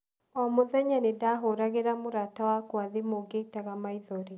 O mũthenya nĩ ndaahũragira mũrata wakwa thimũ ngĩitaga maithori.